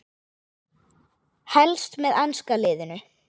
Helst með enska liðinu.